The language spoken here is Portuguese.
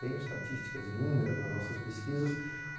Tenho estatísticas inúmeras nas nossas pesquisas.